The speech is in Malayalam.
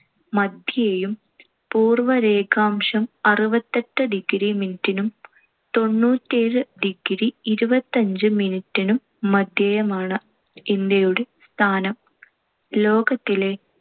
മദ്ധ്യേയും പൂർവ രേഖാംശം അറുപത്തിയെട്ട് degree minute നും തൊണ്ണൂറ്റിഎഴ്‌ degree ഇരുപത്തഞ്ച് minute നും മദ്ധ്യേയുമാണ്‌ ഇന്ത്യയുടെ സ്ഥാനം. ലോകത്തിലെ